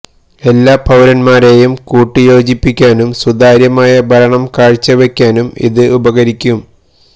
എല്ലാ പൌരന്മാരെയും കൂട്ടിയോജിപ്പിക്കാനും സുതാര്യമായ ഭരണം കാഴ്ച വയ്ക്കാനും ഇത് ഉപകരിക്കും